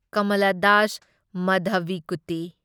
Kamala Das Madhavikutty